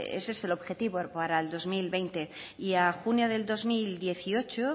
ese es el objetivo para el dos mil veinte y a junio del dos mil dieciocho